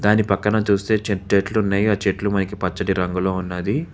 దాని పక్కన చూస్తే చెట్లు ఉన్నాయి ఆ చెట్లు మనకి పచ్చటి రంగులో ఉన్నాది.